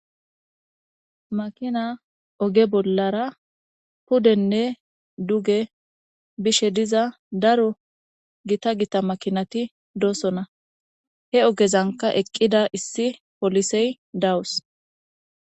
Makina oge bollara pudenne duge bishe diza daro gita gita makinati doosona he ogezanka eqqida issi polisey dawus.